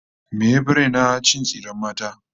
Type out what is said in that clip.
Me yafi raina? Cin tsiren mata